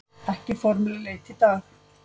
Ekki formleg leit í dag